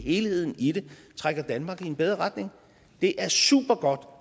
helheden i det trækker danmark i en bedre retning det er supergodt